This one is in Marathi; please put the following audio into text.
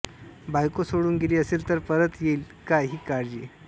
बायको सोडून गेली असेल तर परत येईल का ही काळजी